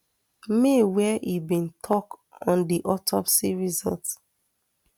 may wia im tok on di autopsy result